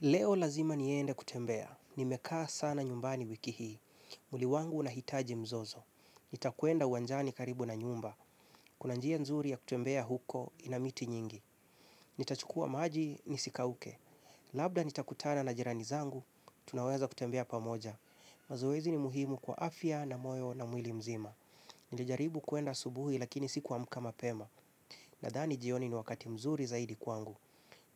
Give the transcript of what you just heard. Leo lazima niende kutembea. Nimekaa sana nyumbani wiki hii. Mwili wangu unahitaji mzozo. Nitakwenda uwanjani karibu na nyumba. Kuna njia nzuri ya kutembea huko ina miti nyingi. Nitachukua maji nisikauke. Labda nitakutana na jirani zangu, tunaweza kutembea pamoja. Mazoezi ni muhimu kwa afya na moyo na mwili mzima. Nilijaribu kwenda asubuhi lakini sikuamka mapema. Nadhani jioni ni wakati mzuri zaidi kwangu.